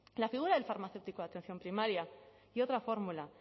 la figura del farmacéutico de atención primaria y otra fórmula